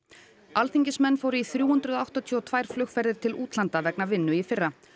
alþingismenn fóru í þrjú hundruð áttatíu og tvær flugferðir til útlanda vegna vinnu í fyrra